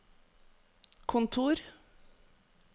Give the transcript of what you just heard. kontor